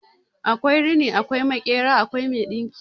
Akwai rini, akwai makera, akwai mai dinki